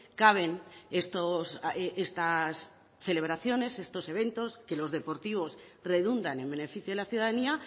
caben estas celebraciones estos eventos que los deportivos redundan en beneficio de la ciudadanía